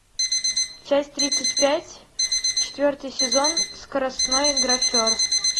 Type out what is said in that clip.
часть тридцать пять четвертый сезон скоростной графер